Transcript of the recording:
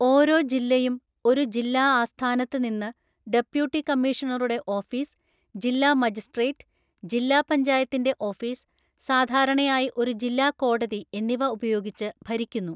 ഓരോ ജില്ലയും ഒരു ജില്ലാ ആസ്ഥാനത്ത് നിന്ന് ഡെപ്യൂട്ടി കമ്മീഷണറുടെ ഓഫീസ്, ജില്ലാ മജിസ്‌ട്രേറ്റ്, ജില്ലാ പഞ്ചായത്തിന്റെ ഓഫീസ്, സാധാരണയായി ഒരു ജില്ലാ കോടതി എന്നിവ ഉപയോഗിച്ച് ഭരിക്കുന്നു.